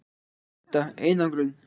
Edda: Einangrun?